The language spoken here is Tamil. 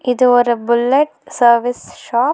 இது ஒரு புல்லட் சர்வீஸ் ஷாப் .